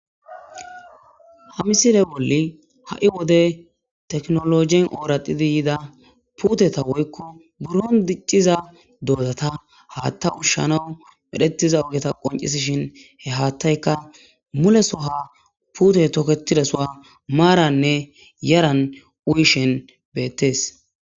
Ha misile bolli ha'i wode teknologien ooradidi yida puuteta woykko buron dicciza doodata haatta ushshanawu medhetiza ogeta qoncisishin he haattayka mulesoha puute tokketidasuwa maaranne yaran uyishen beettees